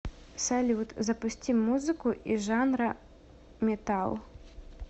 салют запусти музыку из жанра металл